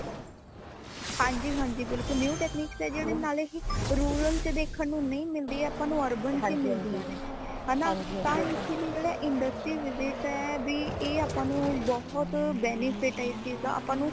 ਹਾਂਜੀ ਹਾਂਜੀ ਬਿਲਕੁਲ new technique ਜੇਡੇ ਨਾਲੇ ਹੀ rural ਚ ਦੇਖਣ ਨੂ ਨਈ ਮਿਲਦੀ ਅਪਾ ਨੂ urban ਚ ਹੀ ਮਿਲਦੀਆਂ ਨੇ ਹੈ ਨਾ ਤਾ ਇਸ ਲਈ ਜੇੜਾ industry visit ਹੈ ਬੀ ਐ ਆਪਾ ਨੂੰ ਬਹੁਤ benefit ਹੈ ਇਸ ਚੀਜ਼ ਦਾ ਆਪਾ ਨੂੰ